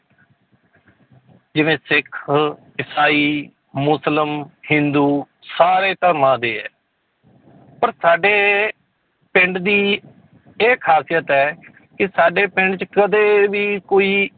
ਜਿਵੇਂ ਸਿੱਖ, ਈਸਾਈ, ਮੁਸਲਮ, ਹਿੰਦੂ ਸਾਰੇ ਧਰਮਾਂ ਦੇ ਹੈ ਪਰ ਸਾਡੇ ਪਿੰਡ ਦੀ ਇਹ ਖ਼ਾਸੀਅਤ ਹੈ ਕਿ ਸਾਡੇ ਪਿੰਡ 'ਚ ਕਦੇ ਵੀ ਕੋਈ